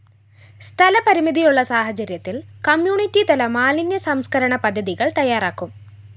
സ്ഥലപരിമിതിയുള്ള സാഹചര്യത്തില്‍ കമ്മ്യൂണിറ്റി തല മാലിന്യ സംസ്‌കരണ പദ്ധതികള്‍ തയാറാക്കും